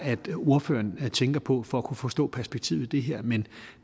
ordføreren tænker på for at kunne forstå perspektivet i det her men